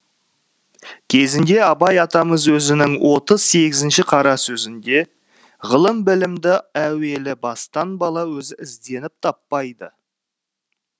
кезінде абай атамыз өзінің отыз сегізінші қара сөзінде ғылым білімді әуелі бастан бала өзі ізденіп таппайды